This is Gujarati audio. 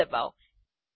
એન્ટર ડબાઓ